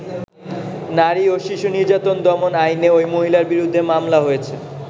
নারী ও শিশু নির্যাতন দমন আইনে ঐ মহিলার বিরুদ্ধে মামলা হয়েছে।